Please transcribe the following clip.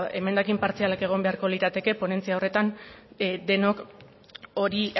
emendakin partzialak egon beharko lirateke ponentzia horretan denok hori